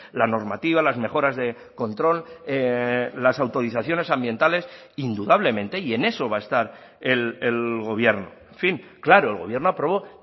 la normativa las mejoras de control las autorizaciones ambientales indudablemente y en eso va a estar el gobierno en fin claro el gobierno aprobó